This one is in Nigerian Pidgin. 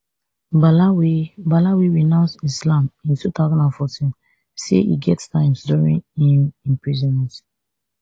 bala wey bala wey renounce islam in two thousand and fourteen say e get times during im imprisonment